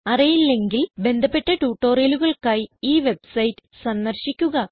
അറിയില്ലെങ്കിൽ ബന്ധപ്പെട്ട ട്യൂട്ടോറിയലുകൾക്കായി ഈ വെബ്സൈറ്റ് സന്ദർശിക്കുക